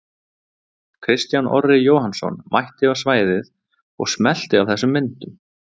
Kristján Orri Jóhannsson mætti á svæðið og smellti af þessum myndum.